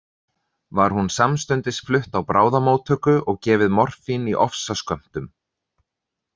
Var hún samstundis flutt á bráðamóttöku og gefið morfín í ofsaskömmtum.